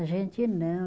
A gente não.